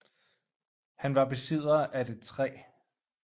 Han var besidder af det 3